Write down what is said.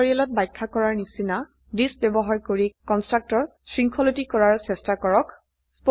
টিউটোৰিয়েলত ব্যাখ্যা কৰাৰ নিচিনা থিচ ব্যবহাৰ কৰে কন্সট্ৰাকটৰ শৃঙ্খলিত কৰাৰ চেষ্টা কৰক